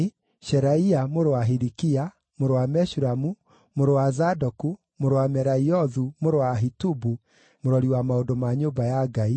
Sheraia mũrũ wa Hilikia, mũrũ wa Meshulamu, mũrũ wa Zadoku, mũrũ wa Meraiothu, mũrũ wa Ahitubu, mũrori wa maũndũ ma nyũmba ya Ngai,